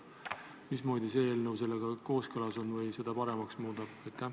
Mismoodi see eelnõu sellega kooskõlas on või seda paremaks muudab?